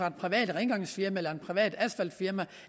et privat rengøringsfirma et privat asfaltfirma